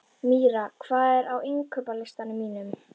Mýra, hvað er á innkaupalistanum mínum?